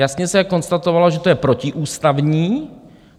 Jasně se konstatovalo, že to je protiústavní.